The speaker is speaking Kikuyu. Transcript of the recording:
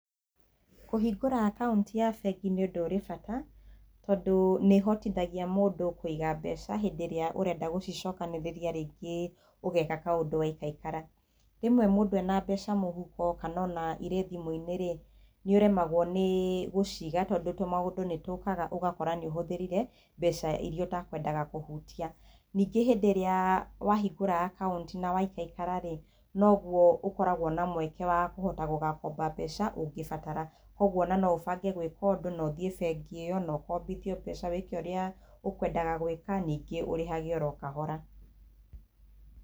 Kũhingũra akaunti ya bengi nĩ ũndũ ũrĩ bata, tondũ nĩ ĩhotithagia mũndũ kũiga mbeca hĩndĩ ĩrĩa ũrenda gũcicokanĩrĩria rĩngĩ ũgeka kaũndũ waikaikara. Rĩmwe mũndũ ena mbeca mũhuko kana ona irĩ thimũ-inĩ rĩ, nĩ ũremagwo nĩ gũciga tondũ tũmaũndũ nĩ tũkaga ũgakora nĩ ũhũthĩrire mbeca iria ũtekwendaga kũhutia. Ningĩ hĩndĩ ĩrĩa wahingũra akaunti na waikaikara rĩ, noguo ũkoragwo na mweke wa kũhota gũgakomba mbeca ungĩbatara, koguo ona no ũbange gwĩka ũndũ na ũthiĩ bengi ĩyo na ũkombithio mbeca wĩke ũrĩa ũkwendaga gwĩka, ningĩ ũrĩhage oro o kahora.